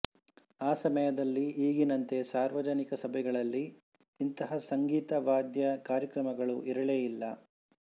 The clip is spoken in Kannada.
ಆ ಸಮಯದಲ್ಲಿ ಈಗಿನಂತೆ ಸಾರ್ವಜನಿಕ ಸಭೆಗಳಲ್ಲಿ ಇಂತಹ ಸಂಗೀತ ವಾದ್ಯ ಕಾರ್ಯಕ್ರಮಗಳು ಇರಲೇ ಇಲ್ಲ